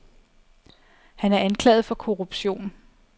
Han er anklaget for korruption.